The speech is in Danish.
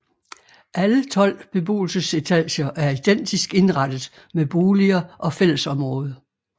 Alle 12 beboelsesetager er identisk indrettet med boliger og fællesområde